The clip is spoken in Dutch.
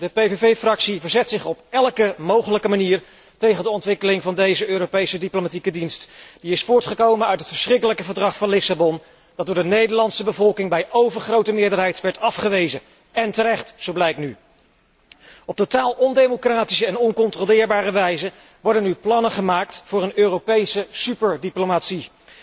De PVV delegatie verzet zich op elke mogelijke manier tegen de ontwikkeling van deze Europese diplomatieke dienst die is voortgekomen uit het verschrikkelijke Verdrag van Lissabon dat door de Nederlandse bevolking bij overgrote meerderheid werd afgewezen en terecht, zo blijkt nu. Op totaal ondemocratische en oncontroleerbare wijze worden nu plannen gemaakt voor een Europese superdiplomatie.